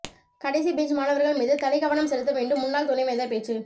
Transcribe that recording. கடைசி பெஞ்ச் மாணவர்கள் மீது தனிக்கவனம் செலுத்த வேண்டும் முன்னாள் துணைவேந்தர் பேச்சு